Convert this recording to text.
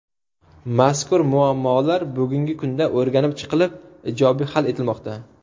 Mazkur muammolar bugungi kunda o‘rganib chiqilib ijobiy hal etilmoqda.